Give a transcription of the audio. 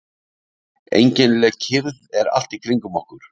Einkennileg kyrrð er allt í kringum okkur.